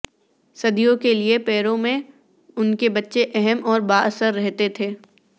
صدیوں کے لئے پیرو میں ان کے بچہ اہم اور با اثر رہتے تھے